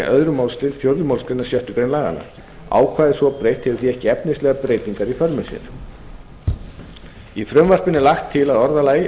öðrum málsl fjórðu málsgrein sjöttu grein laganna ákvæðið svo breytt hefur því ekki efnislegar breytingar í för með sér í frumvarpinu er lagt til að orðalagi